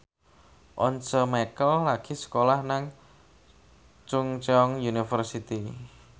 Once Mekel lagi sekolah nang Chungceong University